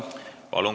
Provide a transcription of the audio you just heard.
Palun!